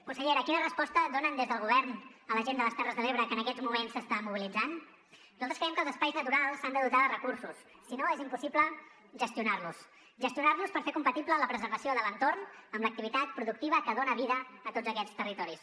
consellera quina resposta donen des del govern a la gent de les terres de l’ebre que en aquests moments s’està mobilitzant nosaltres creiem que els espais naturals s’han de dotar de recursos si no és impossible gestionar los gestionar los per fer compatible la preservació de l’entorn amb l’activitat productiva que dona vida a tots aquests territoris